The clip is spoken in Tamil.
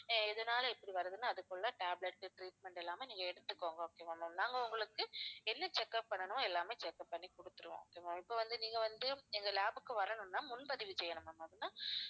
எதனால இப்படி வருதுன்னு அதுக்குள்ள tablets உ treatment எல்லாமே நீங்க எடுத்துக்கோங்க okay வா ma'am நாங்க உங்களுக்கு என்ன check up பண்ணனுமோ எல்லாமே check up பண்ணி கொடுத்துடுவோம் okay ma'am இப்போ வந்து நீங்க வந்து எங்க lab க்கு வரணும்னா முன்பதிவு செய்யணும்னு ma'am